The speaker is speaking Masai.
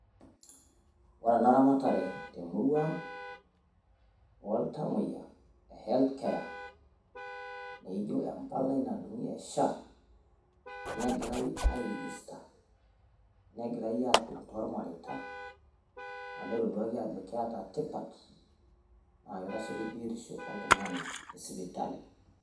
Ore ana eramaratere temurua ang' ontamoyaa health care, naijo naduung'i empalai ya SHA. Nejirai airejesitaa najirai aduung' toonyaritaa amu etoduaki ajo keeta tipaat, naa kera sii kiibierisho oltung'ani te isipitali.